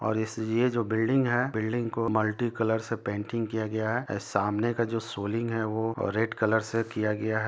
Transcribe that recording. और इस ये जो बिल्डिंग है बिल्डिंग को मल्टी कलर से पेटिग किया गया है सामने का जो सोलीग है वो रेड कलर से किया गया है ।